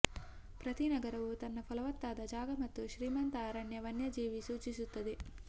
ಪ್ರತಿ ನಗರವು ತನ್ನ ಫಲವತ್ತಾದ ಜಾಗ ಮತ್ತು ಶ್ರೀಮಂತ ಅರಣ್ಯ ವನ್ಯಜೀವಿ ಸೂಚಿಸುತ್ತದೆ